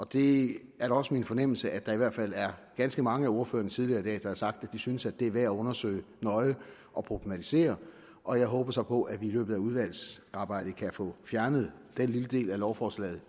det er da også min fornemmelse at der i hvert fald er ganske mange af ordførerne der tidligere i dag har sagt at de synes det er værd at undersøge nøje og problematisere og jeg håber så på at vi i løbet af udvalgsarbejdet kan få fjernet den lille del af lovforslaget